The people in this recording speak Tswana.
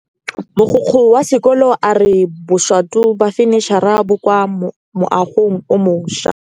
Mogokgo wa sekolo a re bosutô ba fanitšhara bo kwa moagong o mošwa.